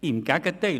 Im Gegenteil!